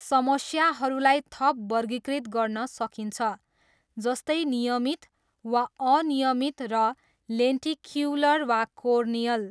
समस्याहरूलाई थप वर्गीकृत गर्न सकिन्छ, जस्तै नियमित वा अनियमित र लेन्टिक्युलर वा कोर्नियल।